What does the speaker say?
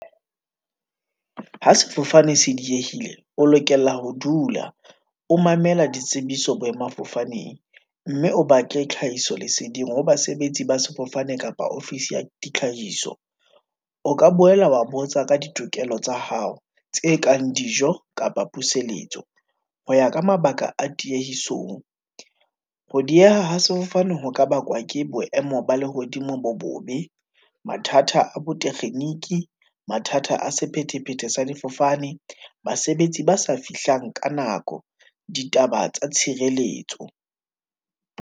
Ha sefofane se diehile, o lokela ho dula, o mamela ditsebiso boemafofaneng, mme o batle tlhahiso leseding ho basebetsi ba sefofane kapa ofisi ya tlhahiso. O ka boela wa botsa ka ditokelo tsa hao, tse kang dijo, kapa puseletso, ho ya ka mabaka a tiyehison. Ho dieha ha sefofane ho ka bakwa ke boemo ba lehodimo bo bobe, mathata a bo tekgeniki, mathata a sephethephethe sa difofane, basebetsi ba sa fihlang ka nako, ditaba tsa tshireletso.